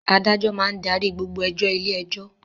Adájọ́ máa ń darí gbogbo ẹjọ́ ilé-ẹjọ́.